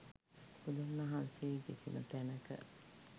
බුදුන් වහන්සේ කිසිම තැනක,